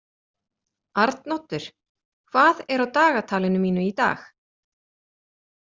Arnoddur, hvað er á dagatalinu mínu í dag?